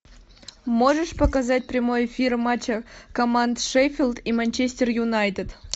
можешь показать прямой эфир матча команд шеффилд и манчестер юнайтед